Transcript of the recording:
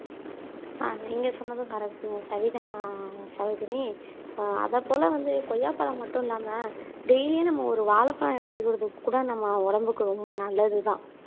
அஹ் நீங்க சொன்னதும் கரெக்ட்ங்க சரிதான் சரோஜினி ஆஹ் அதப்போல வந்து கொய்யாப்பழம் மட்டும் இல்லாம டெய்லியும் நம்ம ஒரு வாழைப்பழம் எடுத்துக்கறதுக்கு கூட நம்ம உடம்புக்கு ரொம்ப நல்லதுதான்